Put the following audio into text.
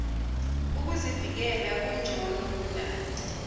ukuzivikela okugcono kunakho